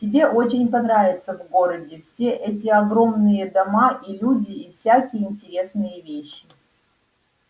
тебе очень понравится в городе все эти огромные дома и люди и всякие интересные вещи